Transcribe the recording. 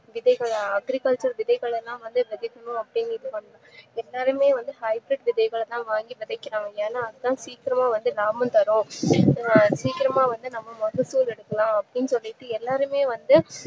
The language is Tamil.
விதைகள agriculture விதைகள்ளலாம் வந்து வெதைக்கணும் அப்டின்னு வந்து இது பண்ணனும் எல்லாருமே வந்து high bridge விதைகளதா வாங்கி விதைக்கிறாங்க அது சீக்கிரமா வந்து ஒரு amount வரும் சீக்கிரமா வந்தா நம்ம நல்லபேரு எடுக்கலாம் அப்டின்னு சொல்லிட்டு எல்லாருமே வந்து